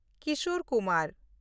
Kishore Kumar